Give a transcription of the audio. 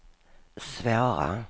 svåra